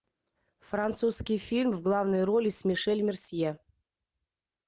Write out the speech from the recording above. французский фильм в главной роли с мишель мерсье